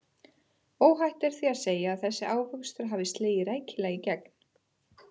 Óhætt er því að segja að þessi ávöxtur hafi slegið rækilega í gegn.